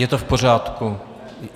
Je to v pořádku?